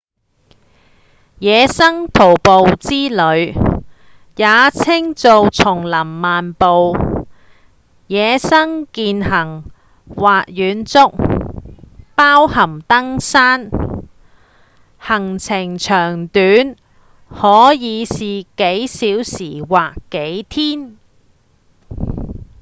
野生徒步之旅也稱做叢林漫步﹑野生健行或遠足包含登山行程長短可以是幾小時或幾天